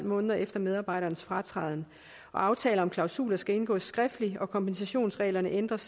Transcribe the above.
måneder efter medarbejderens fratræden aftaler om klausuler skal indgås skriftligt og kompensationsreglerne ændres